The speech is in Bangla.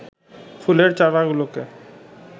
ফুলের চারাগুলোকে